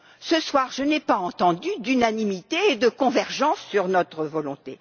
Ce soir, je n'ai pas entendu d'unanimité et de convergence sur notre volonté.